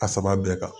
A saba bɛɛ kan